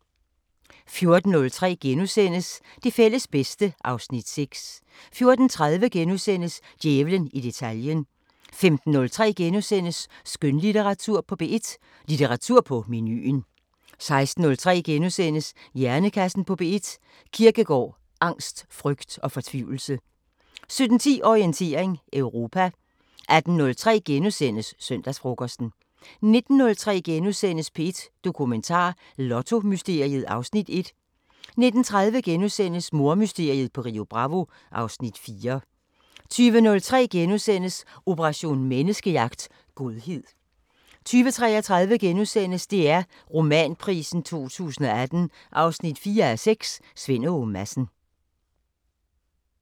14:03: Det fælles bedste (Afs. 6)* 14:30: Djævlen i detaljen * 15:03: Skønlitteratur på P1: Litteratur på menuen * 16:03: Hjernekassen på P1: Kierkegaard, angst, frygt og fortvivlelse * 17:10: Orientering Europa 18:03: Søndagsfrokosten * 19:03: P1 Dokumentar: Lottomysteriet (Afs. 1)* 19:30: Mordmysteriet på Rio Bravo (Afs. 4)* 20:03: Operation Menneskejagt: Godhed * 20:33: DR Romanprisen 2018 4:6 – Svend Åge Madsen *